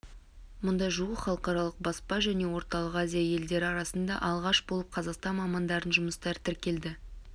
мұнда жуық халықаралық баспа және орталық азия елдері арасында алғашқы болып қазақстан мамандарының жұмыстары тіркелді